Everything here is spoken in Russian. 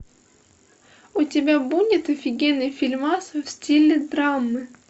у тебя будет офигенный фильмас в стиле драмы